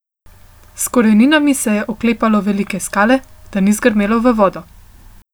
S koreninami se je oklepalo velike skale, da ni zgrmelo v vodo.